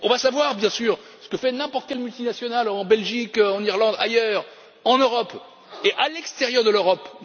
On va savoir, bien sûr, ce que fait n'importe quelle multinationale en Belgique, en Irlande, ailleurs en Europe et à l'extérieur de l'Europe.